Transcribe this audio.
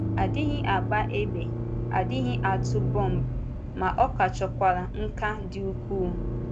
A dịghị agba égbè, a dịghị atụ bọmbụ, ma ọ ka chọkwara nkà dị ukwuu.